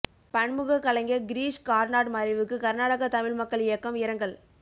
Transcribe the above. பன்முகக் கலைஞர் கிரீஷ் கார்னாட் மறைவுக்கு கர்நாடகத் தமிழ் மக்கள் இயக்கம் இரங்கல்